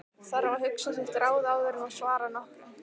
Þarf að hugsa sitt ráð áður en hún svarar nokkru.